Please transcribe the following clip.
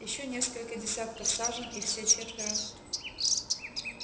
ещё несколько десятков сажен и все четверо